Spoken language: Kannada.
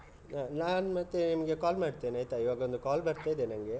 ನಾನ್ ಮತ್ತೆ ನಿಮ್ಗೆ call ಮಾಡ್ತೆನೆ ಆಯ್ತಾ ಈವಾಗ ಒಂದು call ಬರ್ತಾ ಇದೆ ನನ್ಗೆ.